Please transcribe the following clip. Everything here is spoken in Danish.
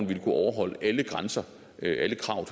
ville kunne overholde alle grænser alle krav